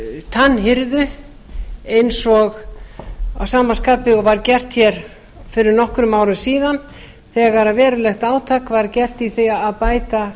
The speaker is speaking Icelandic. tannhirðu að sama skapi og var gert hér fyrir nokkrum árum síðan þegar verulegt átak var gert í því að bæta